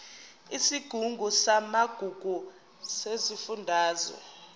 isigungu samagugu sesifundazwe